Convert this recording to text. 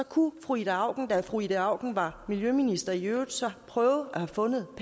kunne fru ida auken da fru ida auken var miljøminister i øvrigt så have prøvet at